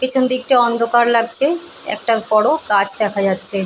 পেছন দিকটা অন্ধকার লাগছে একটা বড় গাছ দেখা যাচ্ছে।